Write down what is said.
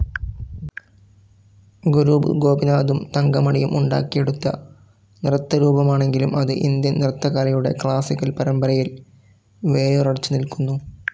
ഗുരു ഗോപിനാഥും തങ്കമണിയും ഉണ്ടാക്കിയെടുത്ത നൃത്തരൂപമാണെങ്കിലും അത് ഇന്ത്യൻ നൃത്തകലയുടെ ക്ലാസിക്കൽ പരമ്പരയിൽ വേരുറച്ച് നിൽക്കുന്നു.